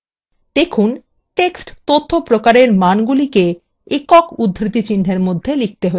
দেখুন text তথ্য প্রকারwe মানগুলিকে একক উদ্ধৃতি চিহ্নwe মধ্যে লিখতে have